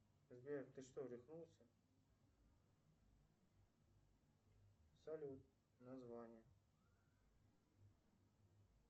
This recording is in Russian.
сбер ты что рехнулся салют название